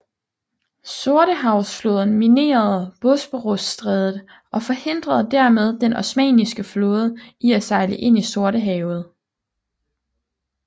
Sortehavsflåden minerede Bosporusstrædet og forhindrede dermed den osmanniske flåde i at sejle ind i Sortehavet